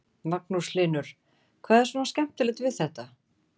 Magnús Hlynur: Hvað er svona skemmtilegt við þetta?